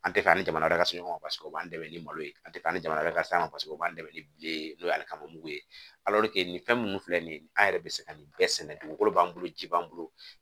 An tɛ fɛ ani jamana ka so ɲɔgɔn paseke o b'an dɛmɛ ni malo ye an tɛ taa ni jamana wɛrɛ san o b'an dɛmɛ ni bilen n'o ye hali kamamugu ye nin fɛn minnu filɛ nin ye an yɛrɛ bɛ se ka nin bɛɛ sɛnɛ dugukolo b'an bolo ji b'an bolo